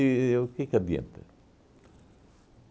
E o que que adianta?